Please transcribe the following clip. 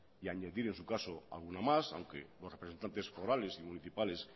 y añadir en su caso alguno más aunque los representantes forales y municipales